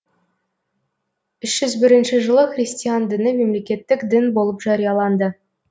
үш жүз бірінші жылы христиан діні мемлекеттік дін болып жарияланды